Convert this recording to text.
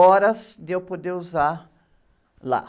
horas de eu poder usar lá.